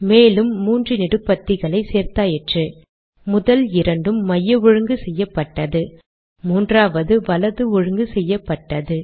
மேலும் மூன்று நெடுபத்திகளை சேர்த்தாயிற்று முதல் இரண்டும் மைய ஒழுங்கு செய்யப்பட்டது மூன்றாவது வலது ஒழுங்கு செய்யப்பட்டது